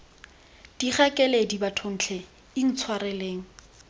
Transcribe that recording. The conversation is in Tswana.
thikga keledi bathong tlhe intshwareleng